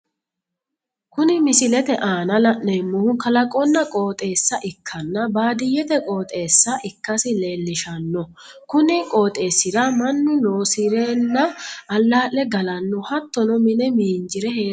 Kunni misilete aanna la'neemohu kalaqonna qooxeessa ikanna baadiyete qooxeessa ikasi leelishano kunni qooxeesira Manu loosirenna alaa'le galano hattono mi'ne miinjire heeranowaati.